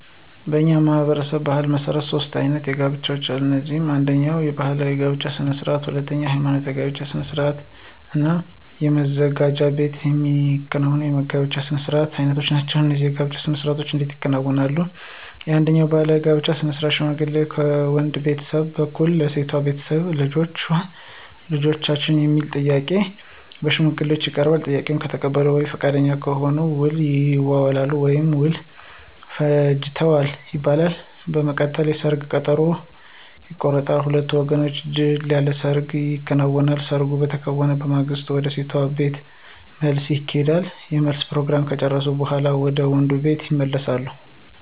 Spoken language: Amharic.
በእኛ ማህበረሰብ ባሕል መሠረት ሦስት አይነት የጋብቻ አሉ። እነሱም አነደኛ ባህላዊ የጋብቻ ስነ ስርዓት፣ ሁለተኛ ሐይማኖታዊ የጋብቻ ስነ ስርዓት እና መዘጋጃ ቤት የሚከናወኑ የጋብቻ ስነ ስርዓት አይነቶች ናቸው። እነዚህ የጋብቻ ስነ ስርዓቶች እንዴት ይከናወናሉ፣ አንደኛው ባህላዊ የጋብቻ ስነ ስርዓት ሽማግሌ ከወንድ ቤተሰብ በኩል ለሴቷ ቤተሰብ ልጃችሁን ለልጃችን የሚል ጥያቄ በሽማግሌዎች ይቀርባል፤ ጥያቄውን ከተቀበሉ ወይም ፈቃደኛ ከሆኑ ውል ይይዛሉ ወይም ውል ፈጅተዋል ይባላል። በመቀጠልም የሰርግ ቀጠሮ ቀን ይቆረጥና በሁለቱም ወገኖች ድል ያለ ሰርግ ይከናወናል። ሰርጉ በተከናወነ በማግስቱ ወደ ሴቷ ቤተሰብ መልስ ይሄዳሉ የመልስ ፕሮግራሙን ከጨረሱ በኋላ ወደ ወንዱ ቤተሰብ ይመለሳሉ።